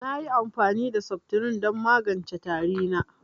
Nayi amfani da seftirin don magance tari na